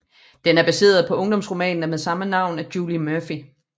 Den er baseret på ungdomsromanen af med samme navn af Julie Murphy